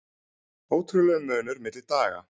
Ótrúlegur munur milli daga